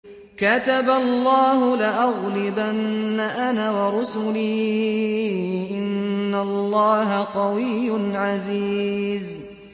كَتَبَ اللَّهُ لَأَغْلِبَنَّ أَنَا وَرُسُلِي ۚ إِنَّ اللَّهَ قَوِيٌّ عَزِيزٌ